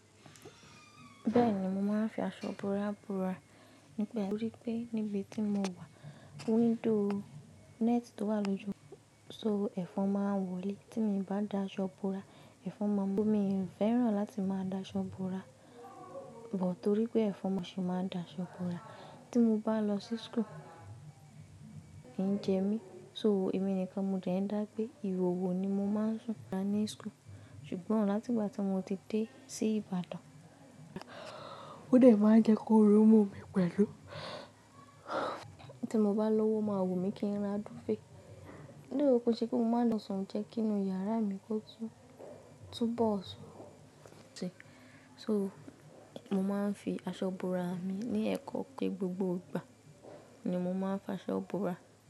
Bẹ́ẹ̀ni, mo máa ń fi aṣọ bora bora. Nígbà, torí pé níbi tí mo wà, window net tó wà lójú, so ẹ̀fọn máa ń wọlé. Tí mo bá da aṣọ búra, ẹ̀fọn máa ń mú. Mi ò fẹ́ràn láti máa da aṣọ bora, but torí pé ẹ̀fọn máa ń ṣe é máa da aṣọ bora. Tí mo bá lọ sí school, kì ń jẹ mí, so èmi nìkan mo dẹ̀ ń dá gbé ìhòhò ni mo máa ń sùn ní school. Ṣùgbọ́n láti ìgbà tí mo ti dé sí Ìbàdàn, ó dẹ̀ máa ń jẹ́ k'óru mú mi pẹ̀lú. Tí mo bá lówó ó máa wùmí kí n ra dúfèé. Though, kòó ṣe pé mo máa n lọ sùn jẹ́ kí inú yàrá mi kó tún, tún bọ̀ọ̀ sùn. So mo máa ń fi aṣọ bora mi ní ẹ̀kọ́ pé gbogbo ìgbà ni mo máa ń fi aṣọ bora.